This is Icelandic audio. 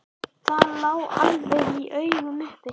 Það lá alveg í augum uppi.